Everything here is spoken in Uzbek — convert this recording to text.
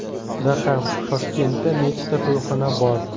Raqam: Toshkentda nechta to‘yxona bor?.